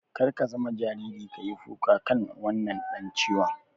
Kar ka zama jariri ka yi kuka kan wannan dan ciwon.